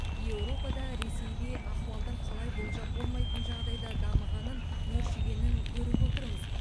еуропада ресейде ахуалдың қалай болжап болмайтын жағдайда дамығанын өршігенін көріп отырмыз